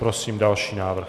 Prosím další návrh.